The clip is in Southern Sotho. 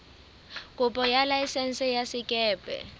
kopo ya laesense ya sekepe